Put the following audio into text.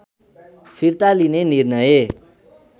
फिर्ता लिने निर्णय